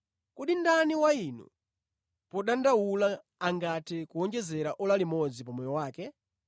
Kodi ndani wa inu podandaula angathe kuwonjeza ora limodzi pa moyo wake?